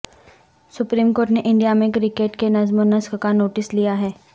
supreme court نے India میں cricket کے نظم و نسق کا نوٹس لیا ہے